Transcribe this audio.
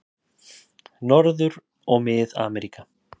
Norður- og Mið-Ameríka